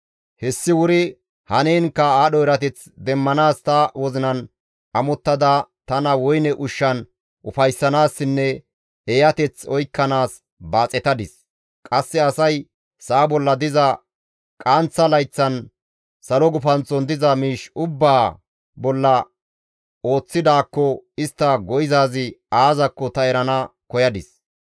Hessi wuri haniinkka aadho erateth demmanaas ta wozinan amottada tana woyne ushshan ufayssanaassinne eeyateth oykkanaas baaxetadis; qasse asay sa7a bolla diza qaanththa layththan salo gufanththon diza miish ubbaa bolla ooththidaakko istta go7izaazi aazakko ta erana koyadis.